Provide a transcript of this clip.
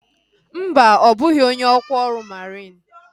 Mba, ọ bụghị onye ọkwa ọrụ mariin